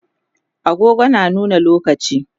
agogo na nuna lokaci